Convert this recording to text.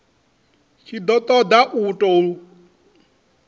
tshi ṱo ḓa u ṱun